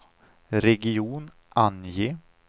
region, ange